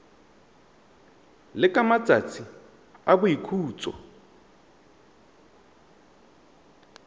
le ka matsatsi a boikhutso